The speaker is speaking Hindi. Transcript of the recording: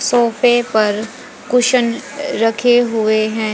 सोफे पर कुशन रखे हुए हैं।